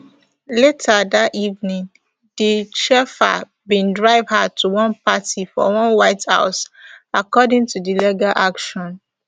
later dat evening di chauffeur bin drive her to one party for one white house according to di legal action